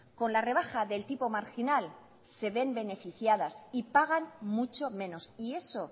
con la rebaja del tipo marginal se ven beneficiadas y pagan mucho menos y eso